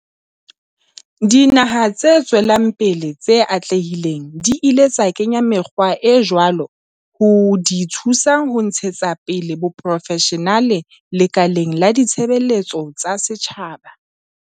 Dinaha tse tswelang pele tse atlehileng di ile tsa kenya mekgwa e jwalo ho di thusa ho ntshetsa pele boprofeshenale lekaleng la ditshebeletso tsa setjhaba.